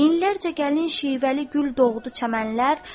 Minlərcə gəlin şişvəli gül doğdu çəmənlər.